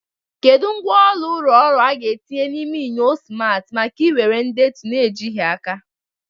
Kedu ngwá ọrụ ụlọ ọrụ a ga-etinye n'ime enyo simarti maka iwere ndetu na-ejighị aka?